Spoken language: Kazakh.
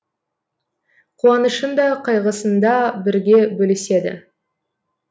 қуанышын да қайғысында бірге бөліседі